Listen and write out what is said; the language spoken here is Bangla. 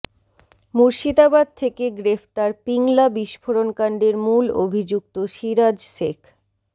মুর্শিদাবাদ থেকে গ্রেফতার পিংলা বিস্ফোরণকাণ্ডের মূল অভিযুক্ত সিরাজ শেখ